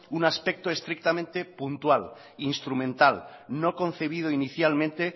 un aspecto estrictamente puntual instrumental no concebido inicialmente